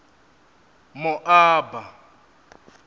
moaba